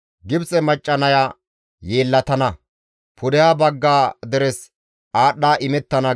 Gibxe macca naya yeellatana; pudeha bagga deres aadhdha imettana.»